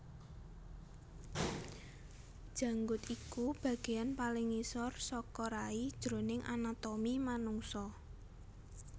Janggut iku bagéan paling ngisor saka rai jroning anatomi manungsa